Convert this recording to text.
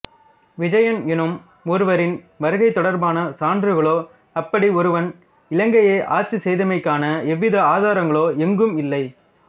விஜயன் எனும் ஒருவரின் வருகைத் தொடர்பான சான்றுகளோ அப்படி ஒருவன் இலங்கையை ஆட்சி செய்தமைக்கான எவ்வித ஆதாரங்களோ எங்கும் இல்லை